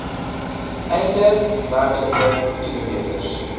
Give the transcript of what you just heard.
einde werklike kilometers